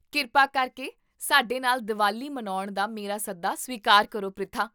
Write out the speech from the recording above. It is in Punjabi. ਕਿਰਪਾ ਕਰਕੇ ਸਾਡੇ ਨਾਲ ਦੀਵਾਲੀ ਮਨਾਉਣ ਦਾ ਮੇਰਾ ਸੱਦਾ ਸਵੀਕਾਰ ਕਰੋ, ਪ੍ਰਿਥਾ